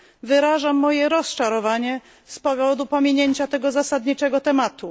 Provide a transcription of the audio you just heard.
Wyrażam moje rozczarowanie z powodu pominięcia tego zasadniczego tematu.